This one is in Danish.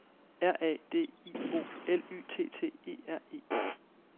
R A D I O L Y T T E R E